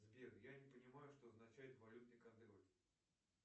сбер я не понимаю что означает валютный контроль